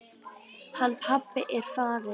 Hann pabbi er farinn.